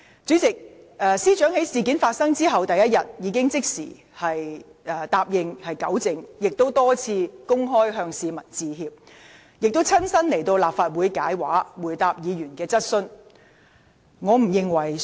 主席，司長在事件發生後第二日，已即時答應作出糾正，並多次公開向市民致歉，以及親身到立法會回答議員的質詢。